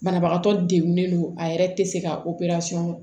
Banabagatɔ degunnen don a yɛrɛ tɛ se ka